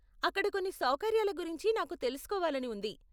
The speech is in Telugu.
అక్కడ కొన్ని సౌకర్యాల గురించి నాకు తెలుసుకోవాలని ఉంది.